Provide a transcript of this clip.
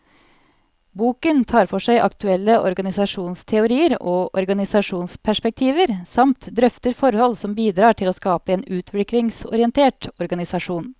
Boken tar for seg aktuelle organisasjonsteorier og organisasjonsperspektiver, samt drøfter forhold som bidrar til å skape en utviklingsorientert organisasjon.